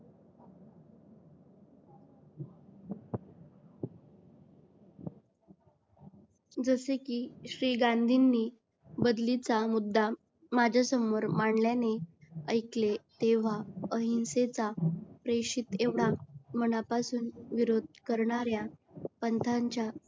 जसे कि श्री गांधींनी बदलीचा मुद्दा माझ्यासमोर मांडल्याने ऐकले तेंव्हा अहिंसेचा प्रेषित एवढा मनापासून विरोध करणाऱ्या पंथांच्या